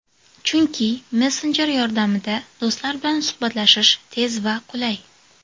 Chunki Messenger yordamida do‘stlar bilan suhbatlashish tez va qulay.